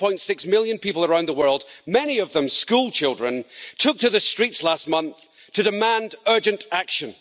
7.6 million people around the world, many of them schoolchildren, took to the streets last month to demand urgent action.